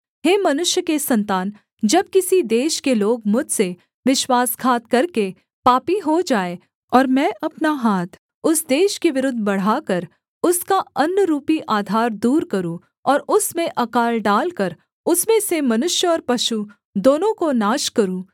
हे मनुष्य के सन्तान जब किसी देश के लोग मुझसे विश्वासघात करके पापी हो जाएँ और मैं अपना हाथ उस देश के विरुद्ध बढ़ाकर उसका अन्‍नरूपी आधार दूर करूँ और उसमें अकाल डालकर उसमें से मनुष्य और पशु दोनों को नाश करूँ